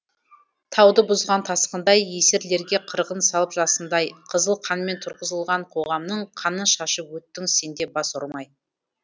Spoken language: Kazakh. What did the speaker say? тауды бұзған тасқындай есерлерге қырғын салып жасындай қызыл қанмен тұрғызылған қоғамның қанын шашып өттің сен де бас ұрмай